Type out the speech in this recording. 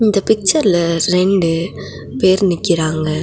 இந்த பிக்சர்ல ரெண்டு பேர் நிக்கிறாங்க.